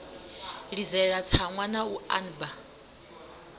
ḽidzela tsaṅwa na u anba